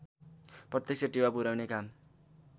प्रत्यक्ष टेवा पुर्याउने काम